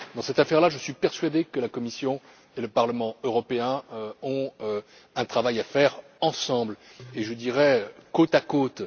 Dans cette affaire, je suis persuadé que la Commission et le Parlement européen ont un travail à faire ensemble, et je dirais même côte à côte.